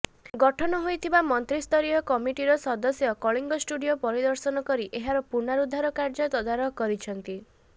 ଗଠନ ହୋଇଥିବା ମନ୍ତ୍ରୀସ୍ତରୀୟ କମିଟିର ସଦସ୍ୟ କଳିଙ୍ଗ ଷ୍ଟୁଡିଓ ପରିଦର୍ଶନ କରି ଏହାର ପୁନରୁଦ୍ଧାର କାର୍ଯ୍ୟ ତଦାରଖ କରିଛନ୍ତି